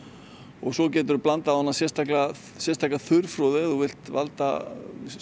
og svo geturðu blandað sérstaka sérstaka þurrfroðu ef þú vilt valda